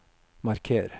marker